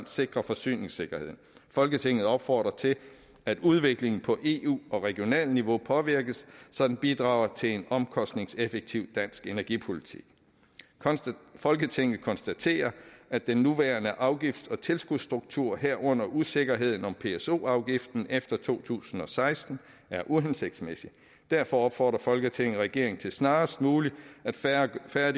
sikrer forsyningssikkerheden folketinget opfordrer til at udviklingen på eu og regionalt niveau påvirkes så den bidrager til en omkostningseffektiv dansk energipolitik folketinget konstaterer at den nuværende afgifts og tilskudsstruktur herunder usikkerheden om pso afgiften efter to tusind og seksten er uhensigtsmæssig derfor opfordrer folketinget regeringen til snarest muligt at færdiggøre